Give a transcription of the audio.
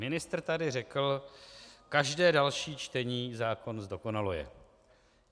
Ministr tady řekl, každé další čtení zákon zdokonaluje.